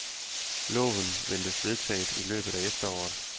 Loven ventes vedtaget i løbet af efteråret.